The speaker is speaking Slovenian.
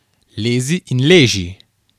Lezi in leži!